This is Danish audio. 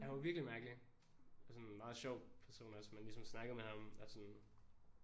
Han var virkelig mærkelig og sådan meget sjov person også man ligesom snakkede med ham og sådan